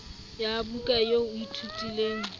ya buka eo o ithutileng